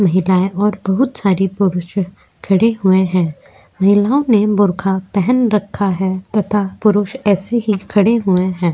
महिलाएँ और बहुत सारे पुरुष खड़े हुए हैं महिलाओं ने बुरखा पहन रखा है तथा पुरुष ऐसे ही खड़े हुए हैं।